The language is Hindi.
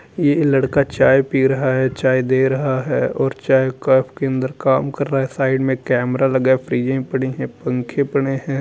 एक लड़का चाय पी रहा है। चाय दे रहा है और चाय कप के अंदर काम कर रहा है। साइड में कैमरा लगा है। पड़ी हैं पंखे पड़े हैं।